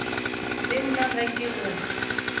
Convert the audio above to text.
le nna ge ke go